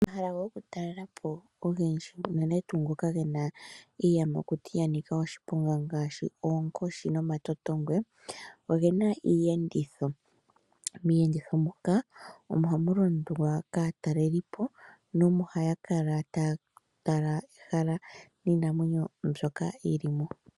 Omahala gokutalelapo ogendji unene tuu ngoka gena iiyamakuti yanika oshiponga ngaashi oonkoshi nomatotongwe ogena iitenditho miiyenditho moka ohamu londwa kaatalelipo nohaya kala taya tala ehala niinamwenyo mbyoka yili mo.